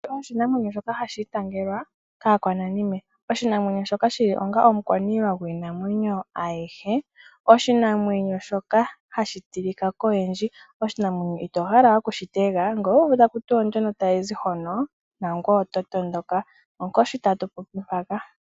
Oshinamwenyo shoka hashi itangelwa kaakwananime. Oshinamwenyo shoka shili onga omukwaniilwa gwiinamwenyo ayihe. Oshinamwenyo shoka hashi tilika koyendji. Oshinamwenyo itohala okushitega n ngele owu uvu takuti ndjonk tayizi hono nangoye oto matuka. Onkoshi tatu popi mpaka.